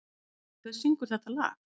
Dilja, hver syngur þetta lag?